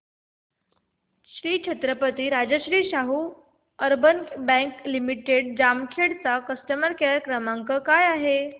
Shri Chhatrapati Rajashri Shahu urban bank limited Jamkhed चा customer care क्रमांक काय आहे